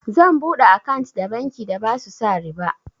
Zan buɗe akant da banki da basu sa riba.